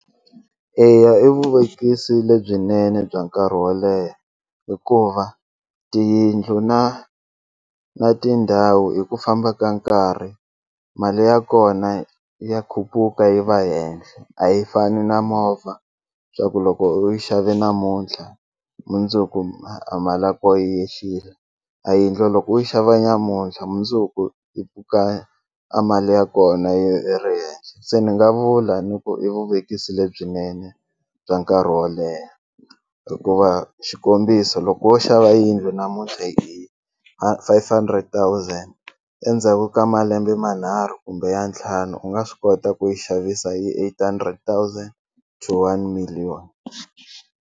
Eya i vuvekisi lebyinene bya nkarhi wo leha hikuva tiyindlu na na tindhawu hi ku famba ka nkarhi mali ya kona ya khuphuka yi va henhla a yi fani na movha swa ku loko u yi xave namuntlha mundzuku a mali ya ko yi yehlile a yindlu loko u yi xava nyamuntlha mundzuku yi pfuka a mali ya kona yi ri henhla se ni nga vula ni ku i vuvekisi lebyinene bya nkarhi wo leha hikuva xikombiso loko wo xava yindlu namuntlha hi five hundred thousand endzhaku ka malembe manharhu kumbe ya ntlhanu u nga swi kota ku yi xavisa hi eight hundred thousand to one million.